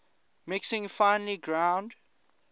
mixing finely ground